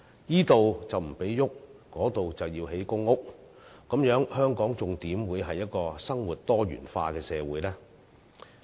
若這裏不許動，那裏要興建公屋，這樣的話香港還怎可以是一個生活多元化的社會呢？